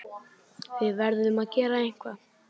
Við verðum að gera eitthvað.